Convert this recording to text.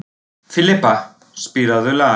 Filippa, spilaðu lag.